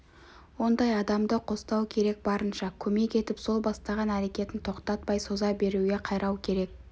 ондай адамды қостау керек барынша көмек етіп сол бастаған әрекетін тоқтатпай соза беруге қайрау керек